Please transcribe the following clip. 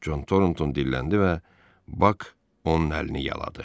Con Torontoun dilləndi və Bak onun əlini yaladı.